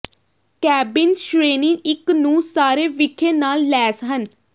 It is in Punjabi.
ਕੈਬਿਨ ਸ਼੍ਰੇਣੀ ਇੱਕ ਨੂੰ ਸਾਰੇ ਵਿਖੇ ਨਾਲ ਲੈਸ ਹਨ